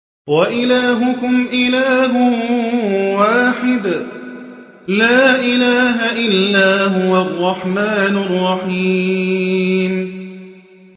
وَإِلَٰهُكُمْ إِلَٰهٌ وَاحِدٌ ۖ لَّا إِلَٰهَ إِلَّا هُوَ الرَّحْمَٰنُ الرَّحِيمُ